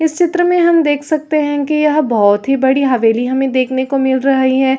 इस चित्र मे हम देख सकते है कि यह बहुत ही बड़ी हवेली हमें देखने को मिल रही है।